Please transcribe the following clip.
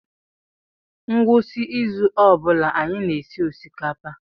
Ngwụsị izu ọ bụla anyị na-esi osikapa.